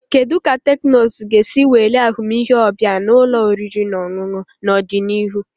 Kedu ka teknụzụ ga-esi welie ahụmịhe ọbịa na ụlọ oriri na ọṅụṅụ n'ọdịnihu?